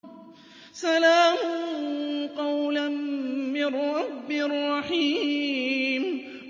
سَلَامٌ قَوْلًا مِّن رَّبٍّ رَّحِيمٍ